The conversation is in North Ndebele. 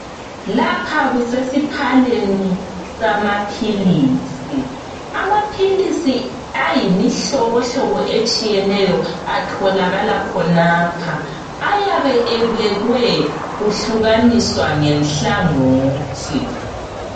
Lapha kusesiphaleni samaphilisi. Amaphilisi ayimihlobohlobo etshiyeneyo atholakala khonapha. Ayabe ebekwe kuhlukaniswa ngenhlangothi.